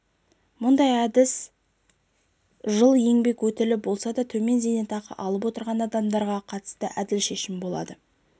мұндай әдіс жыл еңбек өтілі болса да төмен зейнетақы алып отырған адамдарға қатысты әділ шешім болады